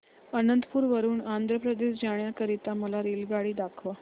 अनंतपुर वरून आंध्र प्रदेश जाण्या करीता मला रेल्वेगाडी दाखवा